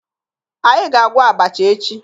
Anyị ga-agwọ abacha echi